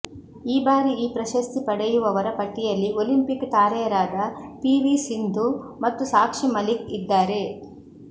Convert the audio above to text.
ಈ ಬಾರಿ ಈ ಪ್ರಶಸ್ತಿ ಪಡೆಯುವವರ ಪಟ್ಟಿಯಲ್ಲಿ ಒಲಿಂಪಿಕ್ ತಾರೆಯರಾದ ಪಿವಿ ಸಿಂಧು ಮತ್ತು ಸಾಕ್ಷಿ ಮಲಿಕ್ ಇದ್ದಾರೆ